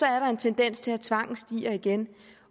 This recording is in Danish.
er der en tendens til at tvangen stiger igen